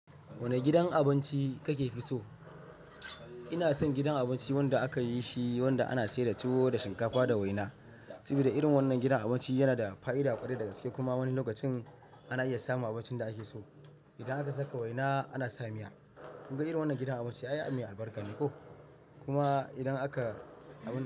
Wane gidan abinci kake fi so? Ina son gidan abinci wanda aka yi shi, wanda ana sai da ciwo da shinkafa da waina. Saboda irin wannan gidan abinci yana da fa'ida ƙwarai da gaske kuma wani lokacin ana iya samun abincin da ake so. Idan aka saka waina ana samiya. Kun ga irin wannan gidan abinci, ayi mai albarka ne koh? Kuma idan aka.